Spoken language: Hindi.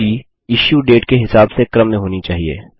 सूची इश्यू डेट के हिसाब से क्रम में होनी चाहिए